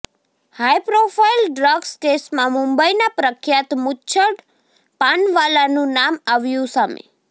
high profile drugs કેસમાં મુંબઇના પ્રખ્યાત મુચ્છડ પાનવાલાનું નામ આવ્યું સામે